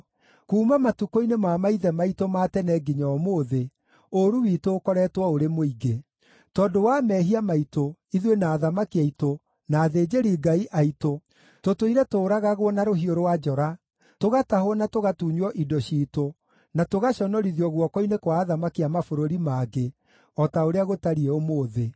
Kuuma matukũ-inĩ ma maithe maitũ ma tene nginya ũmũthĩ, ũũru witũ ũkoretwo ũrĩ mũingĩ. Tondũ wa mehia maitũ, ithuĩ na athamaki aitũ, na athĩnjĩri-Ngai aitũ, tũtũire tũũragagwo na rũhiũ rwa njora, tũgatahwo na tũgatunywo indo ciitũ, na tũgaconorithio guoko-inĩ kwa athamaki a mabũrũri mangĩ, o ta ũrĩa gũtariĩ ũmũthĩ.